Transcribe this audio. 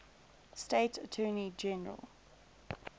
state attorney general